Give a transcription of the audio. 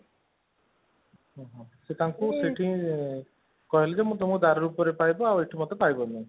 ସେ ତାଙ୍କୁ ସେଠି କହିଲେ ଜେ ମୁଁ ତୁମକୁ ଦାରୁ ରୁପରେ ପାଇବ ଏଠି ପାଇବନି